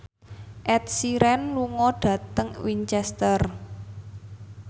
Ed Sheeran lunga dhateng Winchester